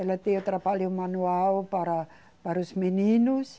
Ela deu trabalho manual para, para os meninos.